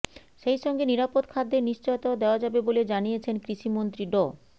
সেই সঙ্গে নিরাপদ খাদ্যের নিশ্চয়তাও দেওয়া যাবে বলে জানিয়েছেন কৃষি মন্ত্রী ড